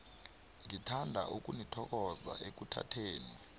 ngithanda ukunithokoza ekuthatheni